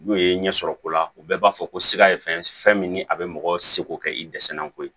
N'o ye ɲɛsɔrɔ ko la u bɛɛ b'a fɔ ko siga fɛn min ni a bɛ mɔgɔ seko kɛ i dɛsɛlanko ye